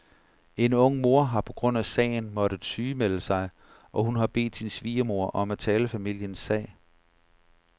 En ung mor har på grund af sagen måttet sygemelde sig, og hun har bedt sin svigermor om at tale familiens sag.